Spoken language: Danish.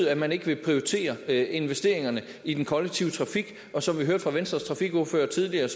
at man ikke vil prioritere investeringerne i den kollektive trafik som vi hørte fra venstres trafikordfører tidligere